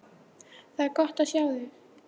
Það er gott að sjá þig!